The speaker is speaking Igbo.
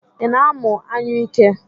Ị na-amụ anyụike?